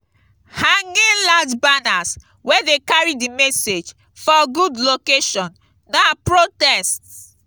hanging large banners wey de carry di message for good location na protests